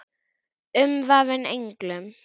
Umvafin englum.